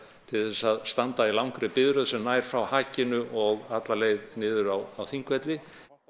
til þess að standa í langri biðröð sem nær frá hakinu og alla leið niður á Þingvelli